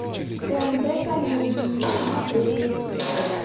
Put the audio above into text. тнт комедии смотреть